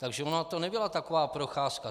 Takže ona to nebyla taková procházka.